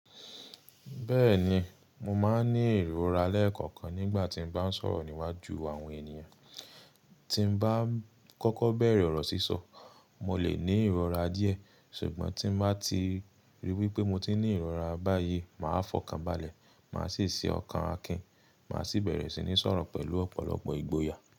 Bẹ́ẹ̀ni, mo máa ń ní ìrora lẹ́ẹ̀kọ̀kan nígbà tí mo bá ń sọ̀rọ̀ níwájú àwọn ènìyàn. Tí n bá ń kọ́kọ́ bẹ̀rẹ̀ ọ̀rọ̀ sísọ, mo lè ní ìrora díẹ̀, ṣùgbọ́n tí n bá ti ríi wí pé mo ti ní ìrora báyìí, màá fọkànbalẹ̀, màá sì ṣe ọkàn akin, màá sì bẹ̀rẹ̀ sí ní sọ̀rọ̀ pẹ̀lú ọ̀pọ̀lọpọ̀ ìgboyà.